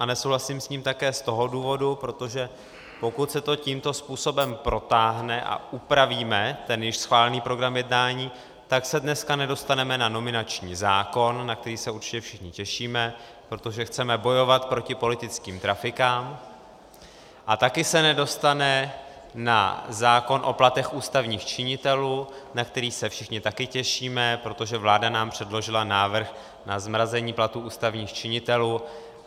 A nesouhlasím s ním také z toho důvodu, protože pokud se to tímto způsobem protáhne a upravíme ten již schválený program jednání, tak se dneska nedostaneme na nominační zákon, na který se určitě všichni těšíme, protože chceme bojovat proti politickým trafikám, a taky se nedostane na zákon o platech ústavních činitelů, na který se všichni také těšíme, protože vláda nám předložila návrh na zmrazení platů ústavních činitelů.